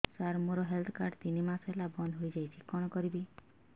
ସାର ମୋର health card ତିନି ମାସ ହେଲା ବନ୍ଦ ହେଇଯାଇଛି କଣ କରିବି